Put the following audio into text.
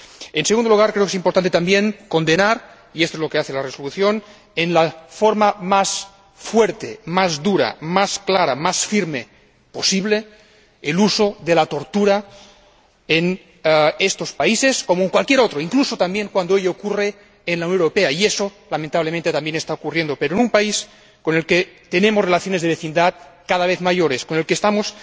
Y, en segundo lugar, creo que también es importante condenar —y esto es lo que hace la Resolución— de la forma más fuerte, más dura, más clara, más firme posible el uso de la tortura en estos países, como en cualquier otro, incluso también cuando ello ocurre en la Unión Europea, y eso lamentablemente también está ocurriendo. Pero en un país con el que tenemos relaciones de vecindad cada vez mayores, con el que estamos